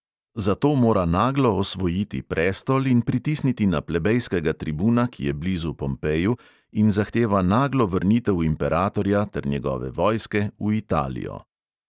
Zato mora naglo osvojiti prestol in pritisniti na plebejskega tribuna, ki je blizu pompeju in zahteva naglo vrnitev imperatorja ter njegove vojske v italijo.